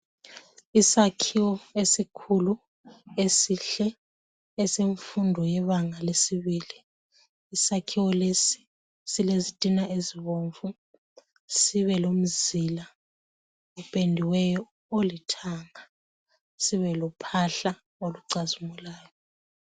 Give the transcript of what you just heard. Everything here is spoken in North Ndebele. Isakhiwo esikhulu esihle esemfundo yebanga lesibili. Isakhiwo lesi silezitina ezibomvu sibelomzila opendiweyo olithanga sibelophahla olucazimulayo.